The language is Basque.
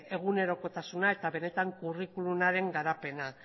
egunerokotasuna eta benetan curriculumaren garapena